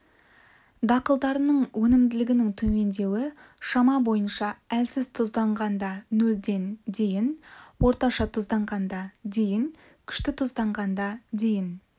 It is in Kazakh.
дақылдарының өнімділігінің төмендеуі шама бойынша әлсіз тұзданғанда нөлден дейін орташа тұзданғанда дейін күшті тұзданғанда дейін